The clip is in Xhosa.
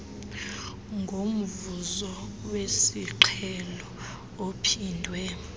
ngomvuzo wesiqhelo ophindwe